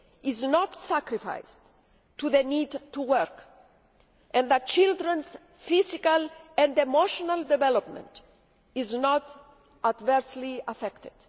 is not sacrificed at the altar of the need to work, and that children's physical and emotional development is not adversely affected.